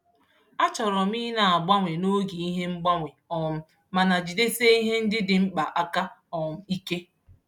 A chọrọ m ị na-agbanwe n'oge ihe mgbanwe um mana jidesie ihe ndị dị mkpa aka um ike.